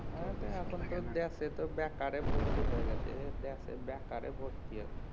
এ তো এখন তো দেশে তো এখন বেকারে ভর্তি হয়ে গেছে দেশে বেকারে ভর্তি এখন